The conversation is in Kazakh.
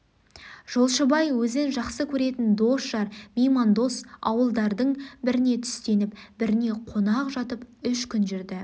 жолшыбай өзін жақсы көретін дос-жар меймандос ауылдардың біріне түстеніп біріне қона жатып үш күн жүрді